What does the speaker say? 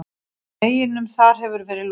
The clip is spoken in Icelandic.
Veginum þar hefur verið lokað.